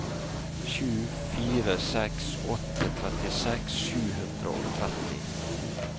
sju fire seks åtte trettiseks sju hundre og tretti